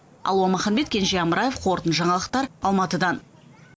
алуа маханбет кенже амраев қорытынды жаңалықтар алматыдан